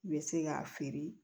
I bɛ se k'a feere